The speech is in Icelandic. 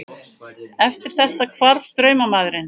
Eftir þetta hvarf draumamaðurinn.